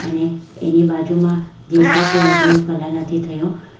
અને એની બાજુમાં જે છે તે હજુ કલર નથી થયો.